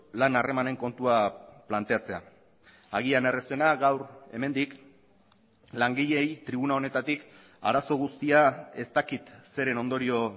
lan harremanen kontua planteatzea agian errazena gaur hemendik langileei tribuna honetatik arazo guztia ez dakit zeren ondorio